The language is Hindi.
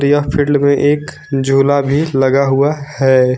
यह फील्ड में एक झूला भी लगा हुआ है।